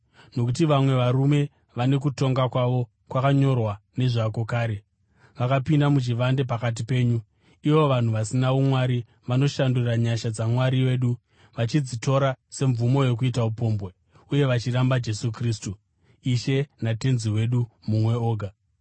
Nokuti vamwe varume vane kutongwa kwavo kwakanyorwa nezvako kare, vakapinda muchivande pakati penyu. Ivo vanhu vasina umwari, vanoshandura nyasha dzaMwari wedu vachidzitora semvumo yokuita upombwe, uye vachiramba Jesu Kristu, Ishe naTenzi wedu mumwe oga.